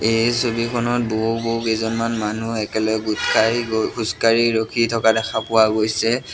এই ছবিখনত বহু-বহু কেইজনমান মানুহ একেলগে গোট খাই খোজকাঢ়ি ৰখি থকা দেখা পোৱা গৈছে।